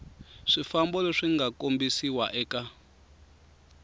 swifambo leswi nga kombisiwa eka